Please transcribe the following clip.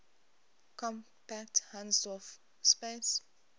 compact hausdorff space